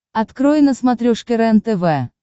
открой на смотрешке рентв